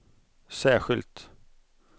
särskilt